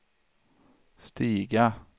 stiga